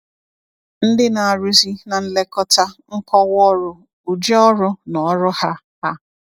Ndị Na-arụzi na Nlekọta, Nkọwa Ọrụ / Ụdị Ọrụ na Ọrụ Ha Ha